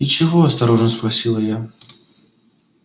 и чего осторожно спросила я